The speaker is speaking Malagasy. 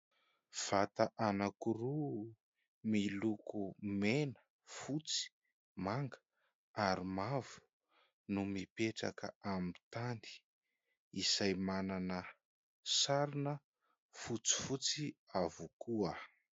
Vata anankiroa miloko mena, fotsy, manga ary mavo no mipetraka amin'ny tany izay manana sarona fotsifotsy avokoa.